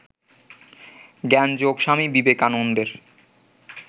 জ্ঞানযোগ স্বামী বিবেকানন্দের